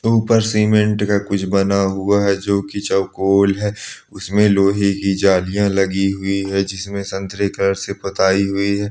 ऊपर सीमेंट का कुछ बना हुआ है जो की चौओ गोल है उसमे लोहे की जालिया लगी हुए है जिसमे संतरे कलर से पोताई हुई है।